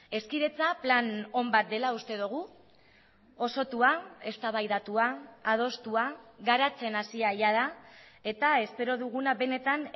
hezkidetza plan on bat dela uste dugu osotua eztabaidatua adostua garatzen hasia jada eta espero duguna benetan